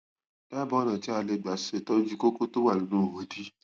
dábàá ọnà tí tí a lè gbà ṣètọjú kókó tó wà nínú ihò ìdí